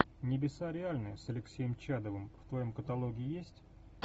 небеса реальны с алексеем чадовым в твоем каталоге есть